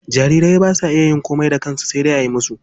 Jariri ba sa iya yin komai da kansha sai dai ayi masa.